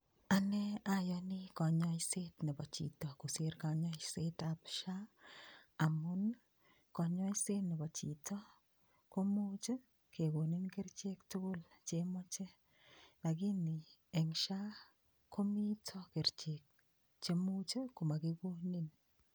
Ane ayoni kanyoiset nebo chito kosir kanyaisetab SHA amun kanyoiset nebo chito komuuch kekonin kerichek tugul chemoche lakini eng' SHA komito kerichek chemuuch komakikonin